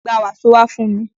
Gba wàsó wá fún mi!